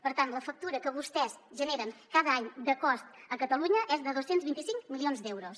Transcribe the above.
per tant la factura que vostès generen cada any de cost a catalunya és de dos cents i vint cinc milions d’euros